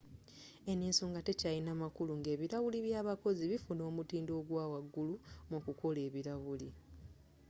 eno ensonga tekyalina makulu nga ebilawuli by'abakozi bifuna omutindo ogw'awagulu mu kukola ebilawuli